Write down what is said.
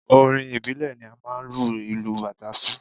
Orin ìbílẹ̀ ni a máa ń lu ìlù bàtà sí.